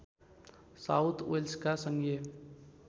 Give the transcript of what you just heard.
south वेल्समा सङ्घीय